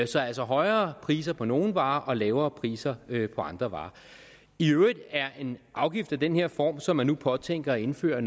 så altså højere priser på nogle varer og lavere priser på andre varer i øvrigt er en afgift af den her form som man nu påtænker at indføre